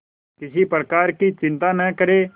किसी प्रकार की चिंता न करें